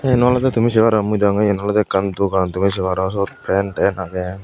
yen olode tumi sey paro mui degong ole yen ekkan dogan tumi sey paro siyot pen ten agey.